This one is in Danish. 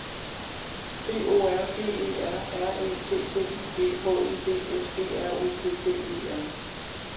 B O R G E R R E T T I G H E D S G R U P P E R